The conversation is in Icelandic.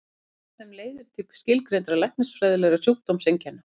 Skortur á þeim leiðir til skilgreindra læknisfræðilegra sjúkdómseinkenna.